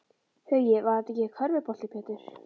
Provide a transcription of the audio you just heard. Hugi: Var það ekki körfubolti Pétur?